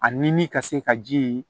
A ɲimi ka se ka ji